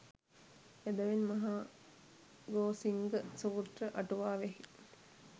එබැවින් මහා ගෝසිංග සූත්‍ර අටුවාවෙහි